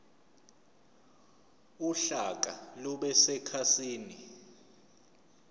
uhlaka lube sekhasini